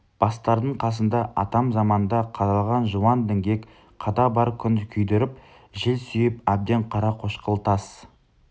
бастардың қасында атам заманда қадалған жуан діңгек қада бар күн күйдіріп жел сүйіп әбден қарақошқыл тас